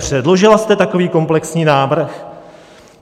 Předložila jste takový komplexní návrh?